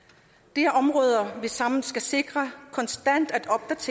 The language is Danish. det er områder vi sammen skal sikre konstant